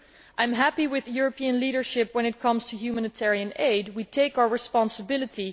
I am happy with European leadership when it comes to humanitarian aid we take our responsibility.